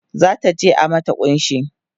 zata je a mata kunshi